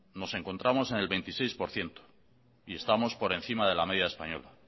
nos encontramos en el veintiséis por ciento y estamos por encima de la media española